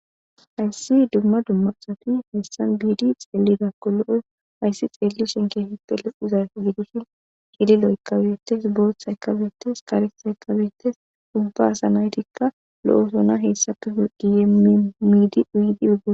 hayssi dumma dummasati hessan biidi xeelidakko lo7o hayssi xeelli shinkeheppele uza gidushin hiidi lo7kkabetes boothaykabetes kareta ykabetes sumba asa naytikka lo7o sona heessape giyemiidi uyidi udge